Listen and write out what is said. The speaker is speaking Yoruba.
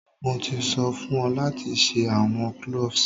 Mo ti so fun o lati se awọn cloves!